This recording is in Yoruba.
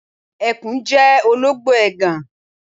Ẹkùn jẹ́ olóńgbò ègàn.